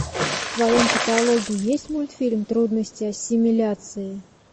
в твоем каталоге есть мультфильм трудности ассимиляции